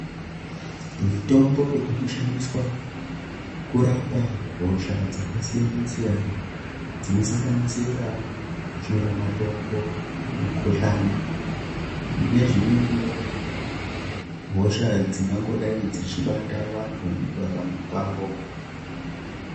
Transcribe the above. Mitombo inoshandiswa kurapa hosha dzakasiyana-siyanana dzinosanganisira shuramatongo, mukuhlani nezvimweniwo hosha dzingangodai dzichibata vantu mukurarama kwavo.